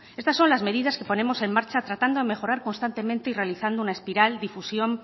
estas son las medidas que ponemos en marcha tratando de mejorar constantemente y realizando una espiral difusión